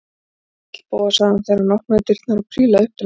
Sæll, Bóas- sagði hann þegar opnaði dyrnar og prílaði upp til hans.